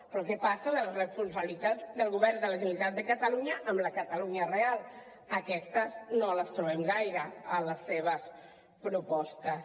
però què passa amb les responsabilitats del govern de la generalitat de catalunya amb la catalunya real aquestes no les trobem gaire a les seves propostes